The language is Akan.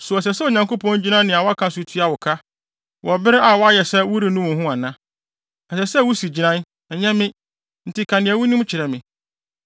So ɛsɛ sɛ Onyankopɔn gyina nea woka so tua wo ka, wɔ bere a woayɛ sɛ worennu wo ho ana? Ɛsɛ sɛ wusi gyinae, ɛnyɛ me; enti ka nea wunim kyerɛ me.